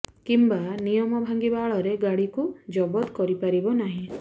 କିମ୍ବା ନିୟମ ଭାଙ୍ଗିବା ଆଳରେ ଗାଡିକୁ ଜବତ କରି ପାରିବ ନାହିଁ